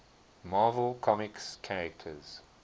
marvel comics characters